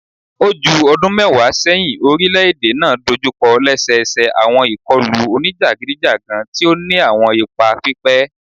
O ju ọdun mẹwa sẹhin, orilẹ-ede naa dojukọ lẹsẹsẹ awọn ikọlu onijagidijagan ti o ni awọn ipa pipẹ